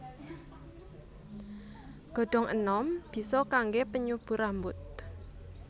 Godhong enom bisa kangge penyubur rambut